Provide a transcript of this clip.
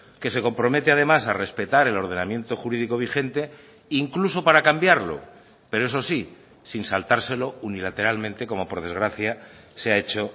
que se compromete además ha respetar el ordenamiento jurídico vigente incluso para cambiarlo pero eso sí sin saltárselo unilateralmente como por desgracia se ha hecho